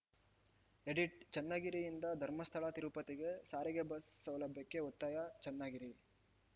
edit ಚನ್ನಗಿರಿಯಿಂದ ಧರ್ಮಸ್ಥಳತಿರುಪತಿಗೆ ಸಾರಿಗೆ ಬಸ್‌ ಸೌಲಭ್ಯಕ್ಕೆ ಒತ್ತಾಯ ಚನ್ನಗಿರಿ